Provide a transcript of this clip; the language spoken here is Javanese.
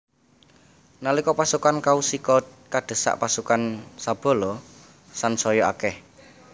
Nalika pasukan Kaushika kadesek pasukan Sabala sansaya akeh